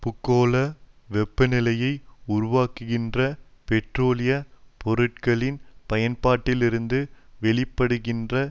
பூகோள வெப்பநிலையை உருவாக்குகின்ற பெட்ரோலிய பொருட்களின் பயன்பாட்டிலிருந்து வெளிப்படுகின்ற